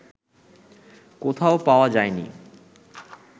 কোথাও পাওয়া যায়নি